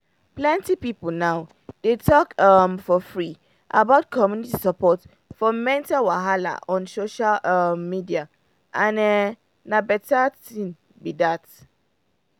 plenty people now dey talk um for free about community support for mental wahala on social um media um and[um]na better thing be that.